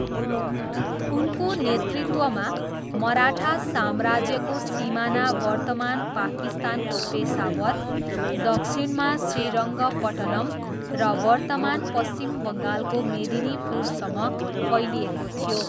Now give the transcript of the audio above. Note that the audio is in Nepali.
उनको नेतृत्वमा, मराठा साम्राज्यको सिमाना वर्तमान पाकिस्तानको पेसावर, दक्षिणमा श्रीरङ्गपट्टनम र वर्तमान पश्चिम बङ्गालको मेदिनिपुरसम्म फैलिएको थियो।